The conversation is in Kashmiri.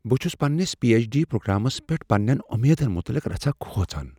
بہٕ چھس پنٛنس پی ایچ ڈی پرٛوگرامس پیٹھ پننین امیدن متعلق رژھاہ کھوژان ۔